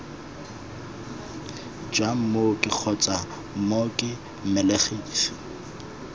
jwa mooki kgotsa mooki mmelegisi